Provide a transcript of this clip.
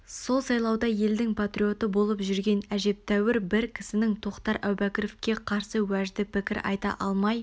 сол сайлауда елдің патриоты болып жүрген әжептеуір бір кісінің тоқтар әубәкіровке қарсы уәжді пікір айта алмай